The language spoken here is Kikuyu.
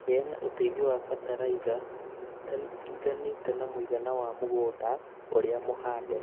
Heana ũteithio wa bataraitha tani iringanĩte na mũigana wa mũgunda ũrĩa mũhande